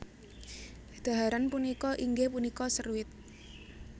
Dhaharan punika inggih punika seruit